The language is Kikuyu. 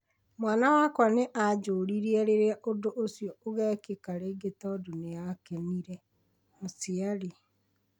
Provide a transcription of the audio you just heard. "Mwana wakwa nĩ aanjũririe rĩrĩa ũndũ ũcio ũgekĩka rĩngĩ tondũ nĩ aakenire", mũciari